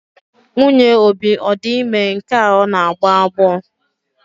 Nwunye Obi ọ di ime nke a ọ na-agbọ agbọ?